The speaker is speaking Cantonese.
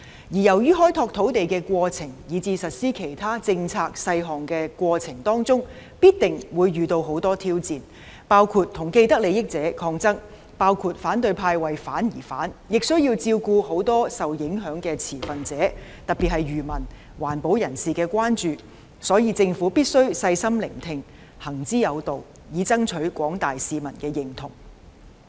由於開拓土地以至實施其他政策細項的過程中必定會遇到很多挑戰，包括與既得利益者抗爭、反對派"為反而反"，亦需要照顧很多受影響的持份者，特別是漁民、環保人士的關注，所以，政府必須細心聆聽，行之有道，以爭取廣大市民的認同。